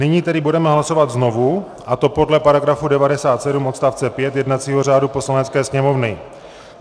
Nyní tedy budeme hlasovat znovu, a to podle § 97 odst. 5 jednacího řádu Poslanecké sněmovny.